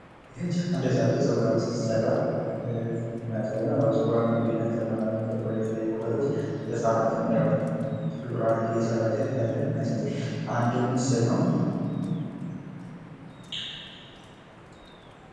ይህ አንዲት ህጻን ልጅ ጸጉሯን ስትሰራ የሚያሳይ ነው። በተለያዩ ነገሮች ህጽናትን ጸጉሯን እንደተሰራች የሚያሳይ አንድ ምስል ነው።